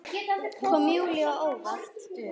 Kom Júlíu á óvart.